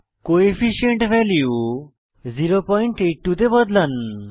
coefficient value 082 এ বদলান